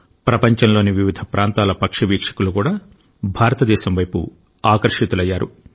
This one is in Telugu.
ప్రపంచంలోని వివిధ ప్రాంతాల పక్షి వీక్షకులు కూడా భారతదేశం వైపు ఆకర్షితులయ్యారు